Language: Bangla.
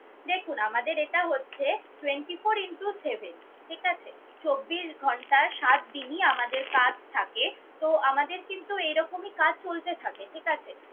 দেখুন আমাদের এটা হচ্ছে twenty four into seven, ঠিক আছে। চব্বিশ ঘন্টা সাত দিনই আমাদের কাজ থাকে। তো আমাদের কিন্তু এরকমই কাজ চলতে থাকে, ঠিক আছে?